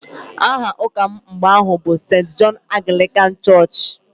Aha ụka m mgbe ahụ bụ Sent Jọn Aglịkan chọọchị